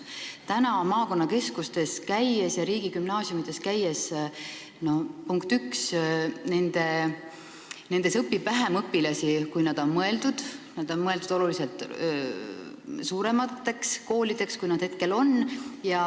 Nüüd maakonnakeskustes riigigümnaasiumides käies ma näen, punkt üks, et nendes õpib vähem õpilasi, kui oli mõeldud, nad olid mõeldud oluliselt suuremate koolidena, kui nad praegu on.